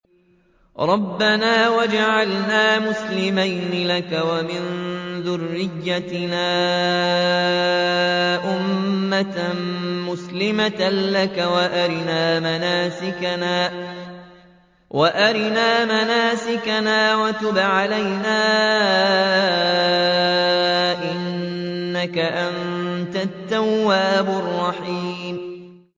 رَبَّنَا وَاجْعَلْنَا مُسْلِمَيْنِ لَكَ وَمِن ذُرِّيَّتِنَا أُمَّةً مُّسْلِمَةً لَّكَ وَأَرِنَا مَنَاسِكَنَا وَتُبْ عَلَيْنَا ۖ إِنَّكَ أَنتَ التَّوَّابُ الرَّحِيمُ